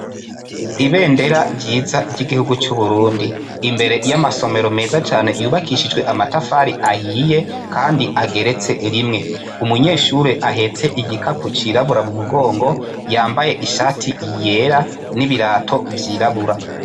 Ibendera ryiza ry'igihugu c'Uburundi ,imbere y'amasomero meza cane yubakishijwe amatafari ahiye, kandi ageretse rimwe. Umunyeshuri ahetse igicapo cirabura mumugongo yambaye ishati yera, n'ibirato vyirabura.